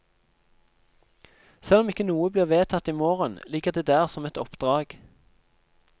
Selv om ikke noe blir vedtatt i morgen, ligger det der som et oppdrag.